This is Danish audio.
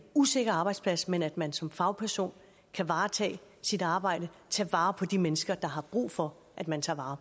usikker arbejdsplads men at man som fagperson kan varetage sit arbejde og tage vare på de mennesker der har brug for at man tager vare